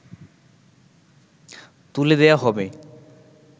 তুলে দেয়া হবে